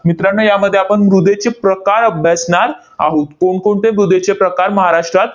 मित्रांनो, यामध्ये आपण मृदेचे प्रकार अभ्यासणार आहोत. कोणकोणते मृदेचे प्रकार महाराष्ट्रात